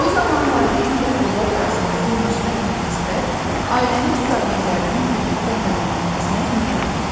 Bu zaman valideyn və övlad arasındakı müsbət münasibət ailənin problemlərinin birlikdə həll edilməsinə imkan verir.